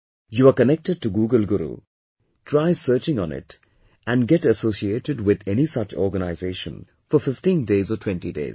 You are connected to Google Guru, try searching on it and get associated with any such organization for 15 days or 20 days